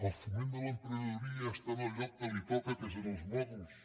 el foment de l’emprenedoria ja està en el lloc que li toca que és en els mòduls